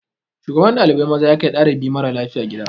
Shugaban ɗalibai maza ya kai ɗalibi mara lafiya gida.